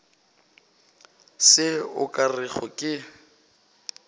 se o ka rego ke